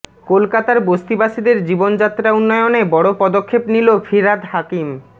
কলকাতার বস্তিবাসীদের জীবনযাত্রা উন্নয়নে বড় পদক্ষেপ নিল ফিরহাদ হাকিম